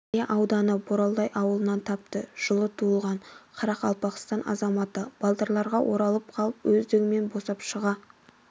іле ауданы боролдай ауылынан тапты жылы туылған қарақалпақстан азаматы балдырларға оралып қалып өздігімен босап шыға